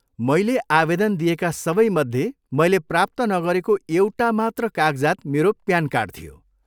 मैले आवेदन दिएका सबैमध्ये मैले प्राप्त नगरेको एउटा मात्र कागजात मेरो प्यान कार्ड थियो।